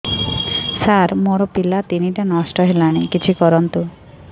ସାର ମୋର ପିଲା ତିନିଟା ନଷ୍ଟ ହେଲାଣି କିଛି କରନ୍ତୁ